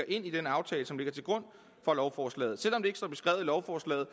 ind i den aftale som ligger til grund for lovforslaget selv om det ikke står beskrevet i lovforslaget